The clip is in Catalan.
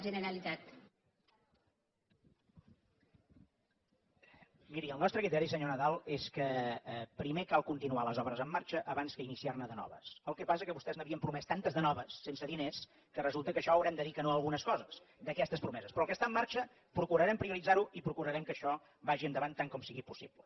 miri el nostre criteri senyor nadal és que primer cal continuar les obres en marxa abans que iniciar ne de noves el que passa és que vostès n’havien promès tantes de noves sense diners que resulta que per això haurem de dir que no a algunes coses d’aquestes promeses però el que està en marxa procurarem prioritzar ho i procurarem que això vagi endavant tant com sigui possible